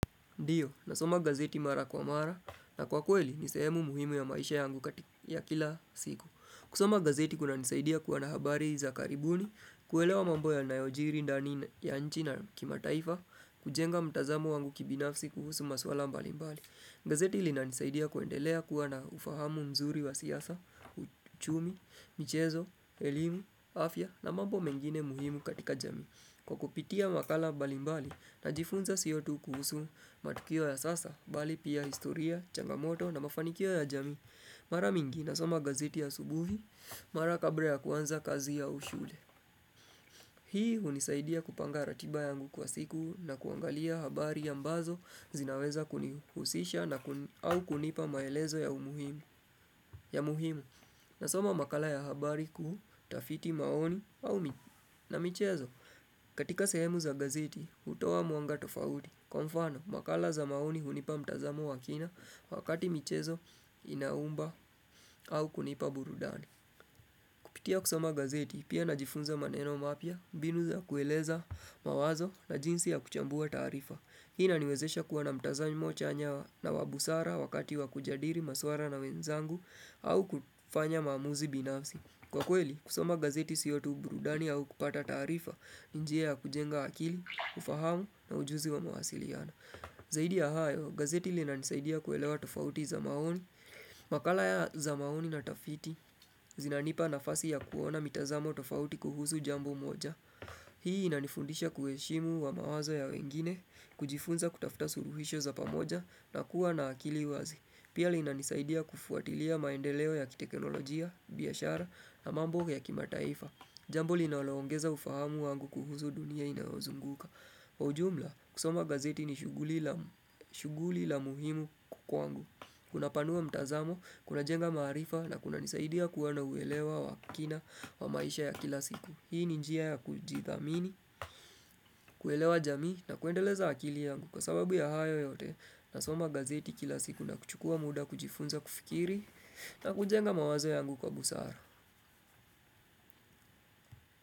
Ndiyo, nasoma gazeti mara kwa mara na kwa kweli ni sehemu muhimu ya maisha yangu katika ya kila siku. Kusoma gazeti kunanisaidia kuna habari za karibuni, kuelewa mambo yanayojiri ndani ya nchi na kimataifa, kujenga mtazamo wangu kibinafsi kuhusu maswala mbali mbali. Gazeti linanisaidia kuendelea kuwa na ufahamu mzuri wa siasa, uchumi, michezo, elimu, afya na mambo mengine muhimu katika jamii. Kwa kupitia makala balimbali najifunza sio tu kuhusu matukio ya sasa, bali pia historia, changamoto na mafanikio ya jamii Mara mingi nasoma gazeti asubuhi, mara kabra ya kwanza kazi au shule Hii hunisaidia kupanga ratiba yangu kwa siku na kuangalia habari ambazo zinaweza kunihusisha au kunipa maelezo ya umuhimu ya muhimu nasoma makala ya habari kutafiti maoni na michezo katika sehemu za gazeti utowa mwanga tofauti Kwa mfano makala za maoni hunipa mtazamo wa kina wakati michezo inaumba au kunipa burudani pitia kusoma gazeti pia najifunza maneno mapya binu za kueleza mawazo na jinsi ya kuchambua taarifa Hii inaniwezesha kuwa na mtazamo chanya na wa busara wakati wa kujadiri maswara na wenzangu au kufanya maamuzi binafsi Kwa kweli, kusoma gazeti sio tu burudani au kupata taarifa ni njia ya kujenga akili, ufahamu na ujuzi wa mawasiliano. Zaidi ya hayo, gazeti linanisaidia kuelewa tofauti za maoni. Makala ya za maoni na tafiti, zinanipa nafasi ya kuona mitazamo tofauti kuhusu jambo moja. Hii inanifundisha kuheshimu wa mawazo ya wengine, kujifunza kutafuta suruhisho za pamoja na kuwa na akili wazi. Pia linanisaidia kufuatilia maendeleo ya kiteknolojia, biashara na mambo ya kimataifa. Jambo linaloongeza ufahamu wangu kuhusu dunia inayozunguka. Kwa ujumla, kusoma gazeti ni shughuli la muhimu ku kwangu. Kunapanua mtazamo, kunajenga marifa na kunanisaidia kuwa na uelewa wa kina wa maisha ya kila siku. Hii ni njia ya kujithamini, kuelewa jamii na kuendeleza akili yangu. Kwa sababu ya hayo yote, nasoma gazeti kila siku na kuchukua muda kujifunza kufikiri na kujenga mawazo yangu kwa busara.